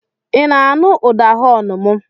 I na-aṅụ ụda họọnụ m?